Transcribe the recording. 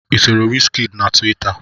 I soro wizkid na tuwita?